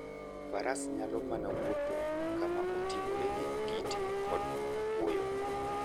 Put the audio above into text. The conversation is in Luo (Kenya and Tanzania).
Faras nyalo mana wuotho kama oting'ore gi kite kod kuoyo.